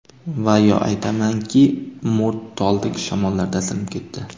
Va yo aytmangki, mo‘rt toldek, Shamollarda sinib ketdi.